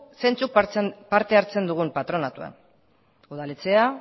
zeintzuk parte hartzen dugun patronatuan udaletxea